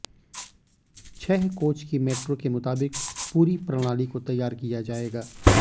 छह कोच की मेट्रो के मुताबिक पूरी प्रणाली को तैयार किया जाएगा